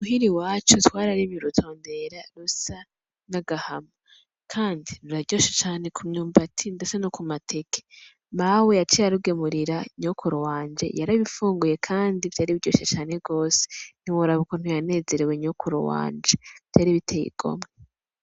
Muhira iwacu twarariye urutondera rusa n'agahama, kandi biraryoshe cane ku myumbati ndetse no ku mateke. Mawe yaciye abigemurira nyokuru wanje yarabifunguye kandi vyari biryoshe cane gose ntiworaba ukuntu yanezerewe nyokuru wanje, vyari bitey'igomwe.